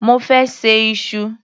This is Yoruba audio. Mo fẹ́ ṣe iṣu.